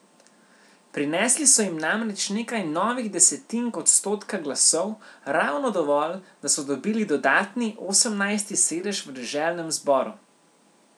Prinesli so jim namreč nekaj novih desetink odstotka glasov, ravno dovolj, da so dobili dodatni, osemnajsti sedež v deželnem zboru.